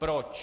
Proč?